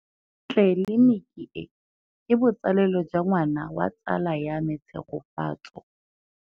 Tleliniki e, ke botsalêlô jwa ngwana wa tsala ya me Tshegofatso.